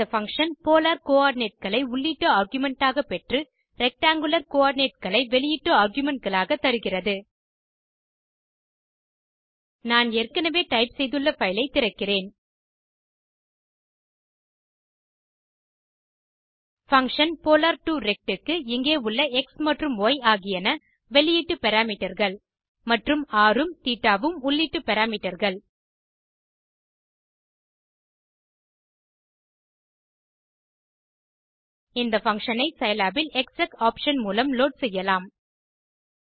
இந்த function polar coordinateகளை உள்ளீட்டு ஆர்குமென்ட் ஆக பெற்று ரெக்டாங்குலர் coordinateகளை வெளியீட்டு argumentகளாக தருகிறது நான் ஏற்கெனெவே டைப் செய்துள்ள பைல் ஐ திறக்கிறேன் பங்ஷன் polar2ரெக்ட் க்கு இங்கே உள்ள எக்ஸ் மற்றும் ய் ஆகியன வெளியீட்டு parameterகள் மற்றும் ர் உம் தேட்ட உம் உள்ளீட்டு parameterகள் இந்த பங்ஷன் ஐ சிலாப் இல் எக்ஸெக் ஆப்ஷன் மூலம் லோட் செய்யலாம்